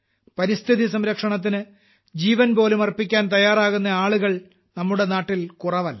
പരിസ്ഥിതി സംരക്ഷണത്തിന് ജീവൻപോലും അർപ്പിക്കാൻ തയ്യാറാകുന്ന ആളുകൾ നമ്മുടെ നാട്ടിൽ കുറവല്ല